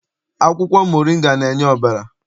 Akwụkwọ moringa na-enye ọbara.